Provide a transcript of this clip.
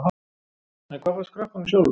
En hvað fannst krökkunum sjálfum?